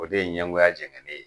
O de ye ɲɛngoya jɛŋɛnen ye.